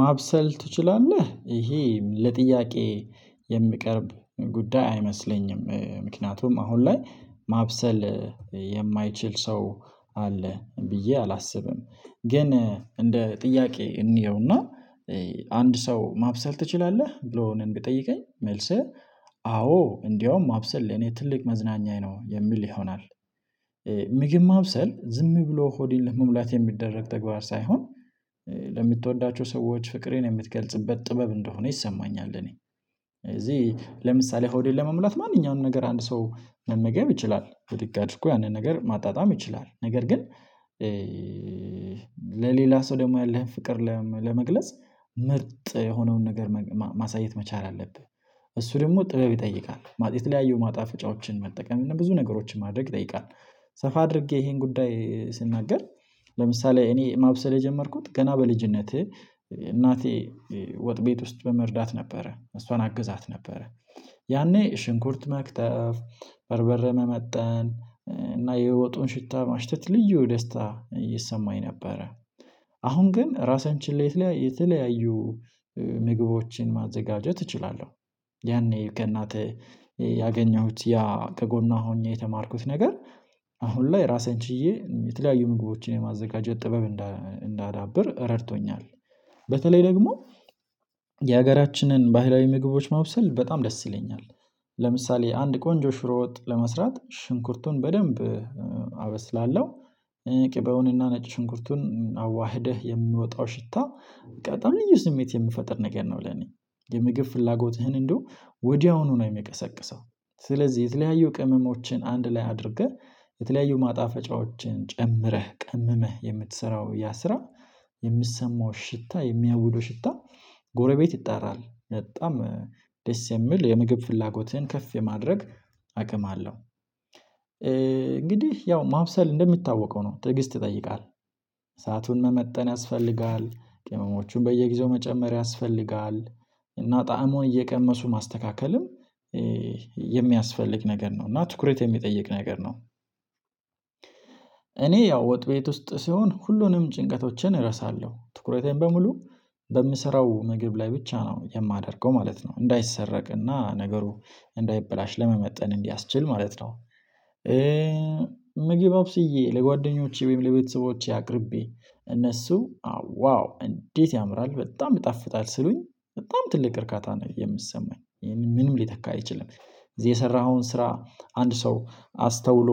ማብሰል ትችላለህ ይሄ ለጥያቄ የሚቀርብ ጉዳይ አይመስለኝም። ምክንያቱም አሁን ላይ ማብሰል የማይችል ሰው አለ ብዬ አላስብም። ግን እንደ ጥያቄ እንየው እና አንድ ሰው ማብሰል ትችላለህ ብሎ እኔን ቢጠይቀኝ መልሴ አዎ እንደውም ማብሰል ለኔ ትልቅ መዝናኛዬ ነው የሚል ይሆናል። ምግብ ማብሰል ዝም ብሎ ሆድን መሙላት የሚደረግ ተግባር ሳይሆን ለምትወዳቸው ሰዎች ፍቅርህን የምትገልጽበት ጥበብ እንደሆነ ይሰማኛል። እኔ ስለዚህ ለምሳሌ ሆዴን ለመሙላት ማንኛውንም ነገር አንድ ሰው መመገብ ይችላል ብድግ አድርጎ ያንን ነገር ማጣጣም ይችላል። ነገር ግን ለሌላ ሰው ደግሞ ያለህን ፍቅር ለመግለጽ ምርጥ የሆነውን ነገር ማሳየት መቻል አለብህ እሱ ደግሞ ጥበብ ይጠይቃል። የተለያዩ የማጣፍጫዎችን መጠቀም ብዙ ነገሮችን ማድረግ ይጠይቃል። ሰፋ አድርጌ ይሄን ጉዳይ ስናገር ለምሳሌ እኔ ማብሰል የጀመርኩት ገና በልጅነቴ እናቴ ወጥ ቤት ውስጥ በመርዳት ነበረ እሷን አግዛት ነበረ። ያኔ ሽንኩርት መክተፍ በርበሬ መመጠን እና የወጡን ሽታ ማሽተት ልዩ ደስታ ይሰማኝ ነበረ። አሁን ግን ራሳችን ላይ የተለያዩ ምግቦችን ማዘጋጀት እችላለሁ። ያኔ ከእናቴ ያገኘሁት ያ ከጎኗ ሆኜ የተማርኩት ነገር አሁን ላይ ራሴን ችዬ የተለያዩ ምግቦችን የማዘጋጀት ጥበብ እንዳዳብር ረድቶኛል። በተለይ ደግሞ የሀገራችንን ባህላዊ ምግቦች ማብሰል በጣም ደስ ይለኛል። ለምሳሌ አንድ ቆንጆ ሽሮ ወጥ ለመስራት ሽንኩርቱን በደንብ አበስላለሁ በውኑ ኝና ነጭ ሽንኩርቱን አዋህደህ የሚወጣው ሽታ በጣ ልዬ ስሜት የምፈጥር ነገር ነው። ለኔ የምግብ ፍላጎትህን እንደው ወዲያውኑ ነው የሚያቀሰቅሰው። ስለዚህ የተለያዩ ቅመሞችን አንድ ላይ አድርገህ የተለያዩ ማጣፈጫዎችን ጨምረህ ቀምመህ የምትሰራው ያ ስራ። የምትሰማው ሽታ የሚያውደው ሽታ ጎረቤት ይጣራል በጣም ደስ የሚል የምግብ ፍላጎትህን ከፍ የማድረግ አቅም አለው። እንግዲህ ያው ማብሰል እንደሚታወቀው ነው ትዕግስት ይጠይቃል። ሰአቱን መመጠን ያስፈልጋል ቅመሞቹን በየጊዜው መጨመር ያስፈልጋል እና ጣዕሙን እየቀመሱ ማስተካከልም የሚያስፈልግ ነገር ነው እና ትኩረት የሚጠይቅ ነገር ነው። እኔ ያው ወጥ ቤት ውስጥ ሲሆን ሁሉንም ጭንቀቶችን እረሳለሁ ትኩረቴን በሙሉ በምሰራው ምግብ ላይ ብቻ ነው የማደርገው ማለት ነው። እንዳይሰረቅ አሰና ነገሩ እንዳይበላሽ ለመመጠን እንዲያስችል ማለት ነው። ምግብ አፕሲዬ ለጓደኞቼም ወይም ለቤተሰቦቼ አቅርቤ እነሱ አዋው እንዴት ያምራል በጣም ይጣፍጣል ስሉኝ በጣም ትልቅ እርካታ ነው የሚሰማኝ። ምንም ሊተካ አይችልም። እዚህ የሰራኸውን ስራ አንድ ሰው አስተውሎ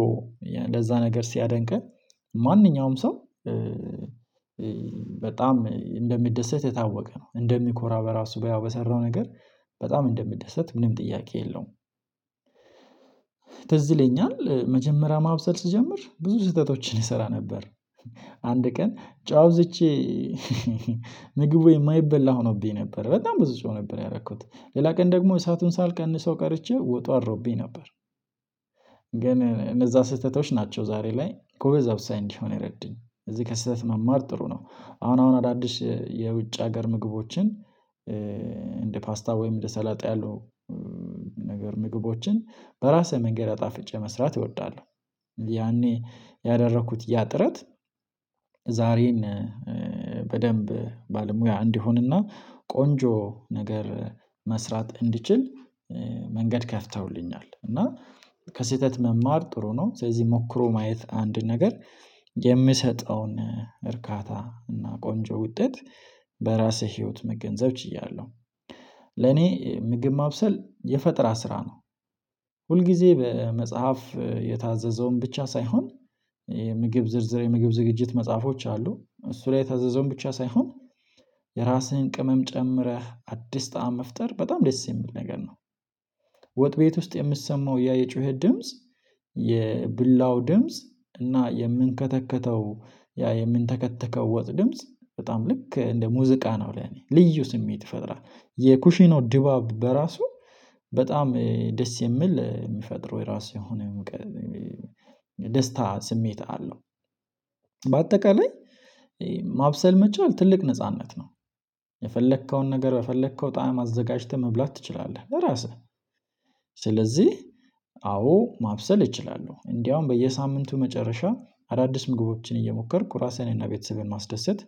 ለዛ ነገር ሲያደንቅህ ማንኛውም ሰው በጣም እንደሚደሰት የታወቀ ነው እንደሚኮራ በራሱ በያው በሰራው ነገር በጣም እንደሚደሰት ምንም ጥያቄ የለውም። ትዝ ይለኛል መጀመሪያ ማብሰል ስጀምር ብዙ ስህተቶችን እሰራ ነበር። አንድ ቀን ጫው እብዝቼ ምግቡ የማይበላ ሆኖብኝ ነበር በጣም ብዙ ጠው ነበር ያረኩት ሌላ ቀን ደግሞ እሳቱን ሳልቀንሰው ቀርቼ ወጡ አሮብኝ ነበር። ግን እነዛ ስህተቶች ናቸው ዛሬ ላይ ጎበዝ አብሳይ እንድሆን የረዱኝ ስለዚህ ከስህተት መማር ጥሩ ነው። አሁን አሁን አዳዲስ የውጭ ሀገር ምግቦችን እንደ ፓስታ ወይም እንደ ሰላጥ ያሉ ነገር ምግቦችን በራስህ መንገድ አጣፍጬ መስራት እወዳለሁ። ያኔ ያደረኩት ያ ጥረት ዛሬን በደንብ ባለሙያ እንዲሆን እና ቆንጆ ነገር መስራት እንድችል መንገድ ከፍተውልኛል። እና ከስህተት መማር ጥሩ ነው። ስለዚህ ሞክሮ ማየት አንድ ነገር የሚሰጠውን እርካታ እና ቆንጆ ውጤት በራሴ ህይወት መገንዘብ ችያለሁ። ለኔ ምግብ ማብሰል የፈጠራ ስራ ነው። ሁል ጊዜ በመጽሐፍ የታዘዘውን ብቻ ሳይሆን የምግብ ዝርዝር የምግብ ዝግጅት መጽሐፎች አሉ እሱ ላይ የታዘዘውን ብቻ ሳይሆን የራስህን ቅመም ጨምረህ አዲስ ጣአሰም መፍጠር በጣም ደስ የሚል ነገር ነው። ወጥ ቤት ውስጥ የሚሰማው ያ የጩኸት ድምጽ የቢላው ድምጽ እና የምንከተከተው ያ የሚንተከተከው ወጥ ድምጽ በጣም ልክ እንደ ሙዚቃ ነው ለኔ ልዩ ስሜት ይፈጥራል። የኩሺናው ድባብ በራሱ በጣም ደስ የሚል የሚፈጥረው የራሱ የሆነ ደስታ ስሜት አለው። በአጠቃላይ ማብሰል መቻል ትልቅ ነጻነት ነው። የፈለከውን ነገር በፈለከው ጣዕም አዘጋጅተህ መብላት ትችላለህ። ለራስህ ስለዚህ አዎ ማብሰል እችላለሁ። እንደውም በየሳምንቱ መጨረሻ አዳዲስ ምግቦችን እየሞከርኩ ራሴን እና ቤተሰብን ማስደሰት።